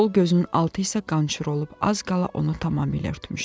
Sol gözünün altı isə qançır olub az qala onu tamamilə örtmüşdü.